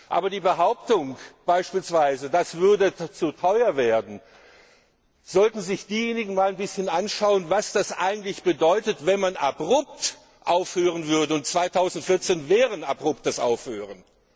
Aber bei der Behauptung beispielsweise, das würde zu teuer werden, sollten sich diejenigen mal ein bisschen anschauen, was das eigentlich bedeutet, wenn man abrupt aufhören würde, und 2014 wäre ein abruptes Aufhören.